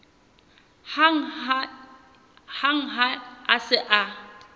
hang ha a se a